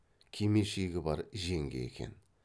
кимешегі бар жеңге екен